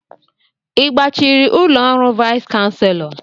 I gbachiri ụlọ ọrụ vais chanselọ?